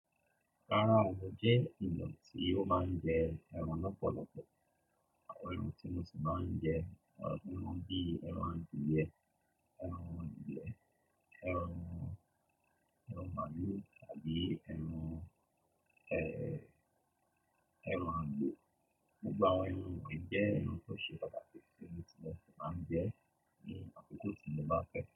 Rárá o, mò jẹ́ èèyàn tí ó má ń jẹ ẹran lọ́pọ̀lọpọ̀, àwọn iru tí mo sì máa ń jẹ ẹran bíi ẹran adìẹ, ẹran ìgbẹ́, ẹran, ẹran màlúù àbí ẹran, ẹran àgbò. Gbogbo àwọn ẹran wọ̀nyí jẹ́ ẹran tó ṣe pàtàkì tí mo sì máa ń jẹ ní àkókò tí mo bá fẹ́